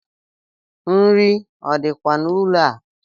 Nri o dikwa n’ụlọ a?